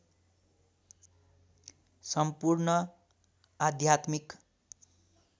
सम्पूर्ण आध्यात्मिक